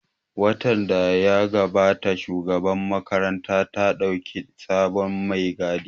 Watan da ya gabata Shugabar makaranta ta ɗauki sabon mai gadi